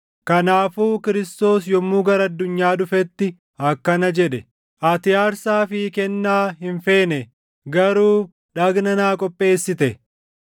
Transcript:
Kanaafuu Kiristoos yommuu gara addunyaa dhufetti akkana jedhe: “Ati aarsaa fi kennaa hin feene; garuu dhagna naa qopheessite;